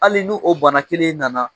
Hali n'u o bana kelen nana